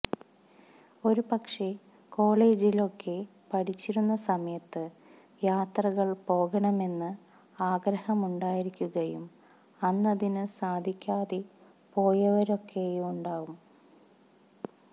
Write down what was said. ഒരുപക്ഷെ കോളേജിലൊക്കെ പഠിച്ചിരുന്ന സമയത്ത് യാത്രകള് പോകണമെന്ന് ആഗ്രഹമുണ്ടായിരിയ്ക്കുകയും അന്നതിന് സാധിയ്ക്കാതെ പോയവരൊക്കെയുണ്ടാവും